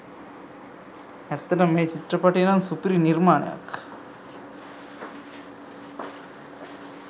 ඇත්තටම මේ චිත්‍රපටිය නම් සුපිරි නිර්මාණයක්.